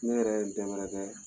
Ne yɛrɛ n